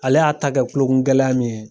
Ale y'a ta kɛ kukungɛlaya min ye.